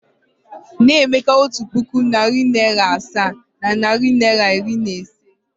Nye Emeka otu puku naịra, narị naịra asaa na naịra iri na ise!